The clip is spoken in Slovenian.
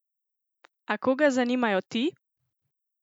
A koga zanimajo ti?